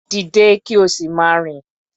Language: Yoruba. Dìde kí o sì máa rìn.